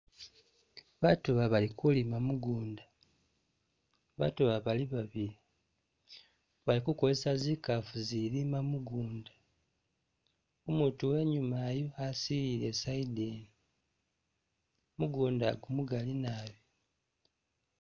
Baatu aba bali kulima mugunda , baatu aba bali babili bali kozesa zikaafu izilima mugunda, umutu uwenyuma uyu asilile i'side ino mugunda ugu mugaali naabi.